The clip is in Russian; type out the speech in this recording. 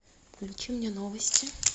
включи мне новости